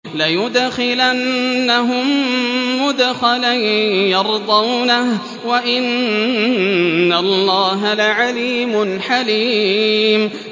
لَيُدْخِلَنَّهُم مُّدْخَلًا يَرْضَوْنَهُ ۗ وَإِنَّ اللَّهَ لَعَلِيمٌ حَلِيمٌ